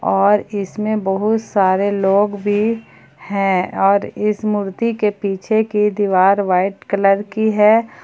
और इसमें बहुत सारे लोग भी है और इस मूर्ति के पीछे की दीवार वाइट कलर की है।